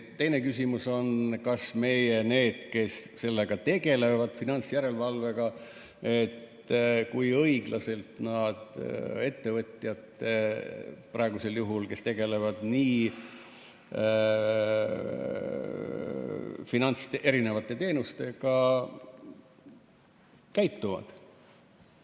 Teine küsimus on see, et kui õiglaselt need, kes finantsjärelevalvega tegelevad, ettevõtjatega, kes pakuvad erisuguseid teenuseid, käituvad.